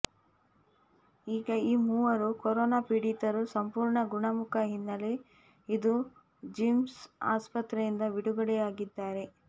ಈಗ ಈ ಮೂವರು ಕೊರೊನಾ ಪೀಡಿತರು ಸಂಪೂರ್ಣ ಗುಣಮುಖ ಹಿನ್ನೆಲೆ ಇಂದು ಜಿಮ್ಸ್ ಆಸ್ಪತ್ರೆಯಿಂದ ಬಿಡುಗಡೆಯಾಗಿದ್ದಾರೆ